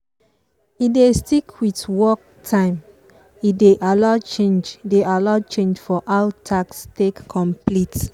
e dey stick with work time but e dey allow change dey allow change for how task take complete.